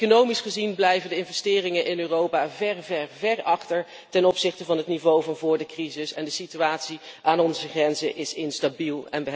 Economisch gezien blijven de investeringen in Europa ver achter ten opzichte van het niveau van vóór de crisis, en de situatie aan onze grenzen is instabiel.